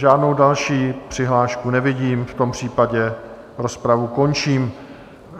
Žádnou další přihlášku nevidím, v tom případě rozpravu končím.